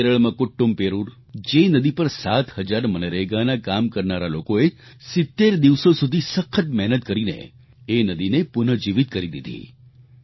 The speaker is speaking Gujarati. કેરળમાં કુટ્ટૂમપેરૂર એ નદી પર 7 હજાર મનરેગાના કામ કરનારા લોકોએ 70 દિવસો સુધી સખત મહેનત કરીને એ નદીને પુનઃજીવિત કરી દીધી